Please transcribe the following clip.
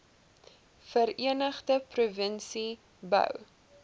verenigde provinsie bou